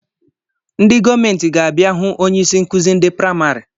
Ndị gọọmenti ga-abịa hụ onye isi nkuzi ndị praimari